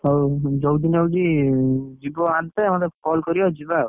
ହଉ ଯୋଉ ଦିନ ହଉଛି ଜୀବ ଆଣତେ ମତେ call କରିବ, ଯିବା ଆଉ